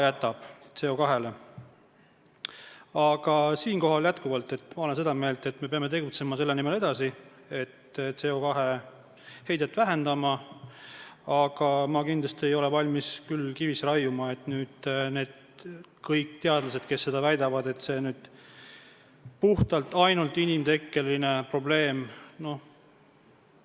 Ma olen seda meelt, et me peame edasi tegutsema selle nimel, et CO2 heidet vähendada, aga ma kindlasti ei ole valmis kivisse raiuma, et see puhtalt ainult inimtekkeline probleem on.